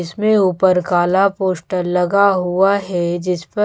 इसमें ऊपर काला पोस्टर लगा हुआ है जिसपर--